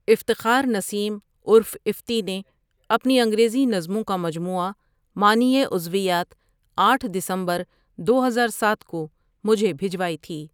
افتخار نسیم عرف افتی نے اپنی انگریزی نظموں کا مجموعہ معنئی عضویات آٹھ دسمبر دو ہزار ساتھ کو مجھے بھجوائی تھی۔